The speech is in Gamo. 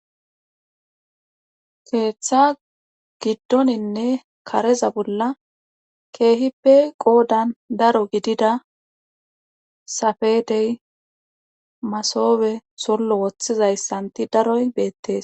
Keeththa giddoninne kareza bolla keehippe qoodan daro gidida safedey masobe sollo woththizayssanti daroy beettes